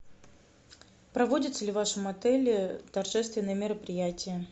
проводятся ли в вашем отеле торжественные мероприятия